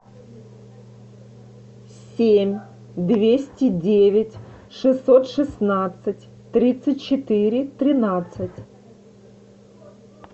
семь двести девять шестьсот шестнадцать тридцать четыре тринадцать